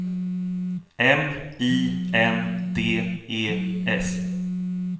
M I N D E S